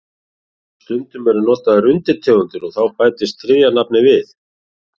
Stundum eru notaðar undirtegundir og þá bætist þriðja nafnið við.